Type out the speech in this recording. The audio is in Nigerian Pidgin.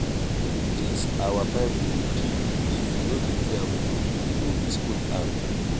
dis our bible dey deep if you no dey careful you go misquote am.